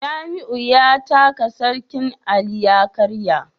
Jamiu ya taka sarkin Ali ya karya